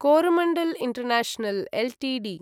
Coromandel international Ltd